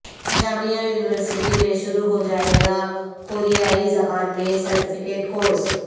جامعہ university میں شروع ہو جائے گا کوریائی زبان میں سرٹیفکیٹ کورس